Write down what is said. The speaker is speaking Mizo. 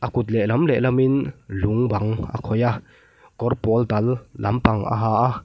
a kut leh lam leh lam in lung bang a khawih a kawr pawl dal lampang a ha a.